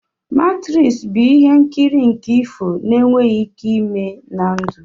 Matrisi bụ ihe nkiri nke ifo n'enweghị ike ime na ndụ